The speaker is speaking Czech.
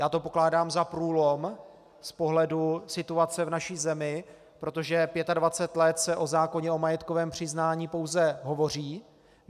Já to pokládám za průlom z pohledu situace v naší zemi, protože 25 let se o zákoně o majetkovém přiznání pouze hovoří.